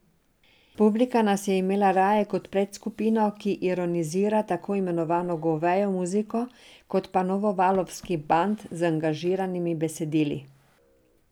Publika nas je imela raje kot predskupino, ki ironizira tako imenovano govejo muziko, kot pa novovalovski band z angažiranimi besedili.